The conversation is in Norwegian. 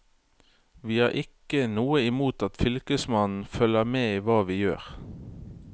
Vi har ikke noe imot at fylkesmannen følger med i hva vi gjør.